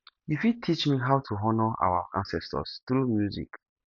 you fit teach me how to honour our ancestors through music